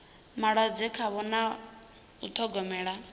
malwadze khavho na u ṱhogomela